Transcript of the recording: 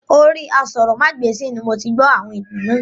Orí aṣórómagbesìn ni moti gbó àwọn ìtàn náà